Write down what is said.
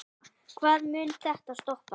Hvar mun þetta stoppa?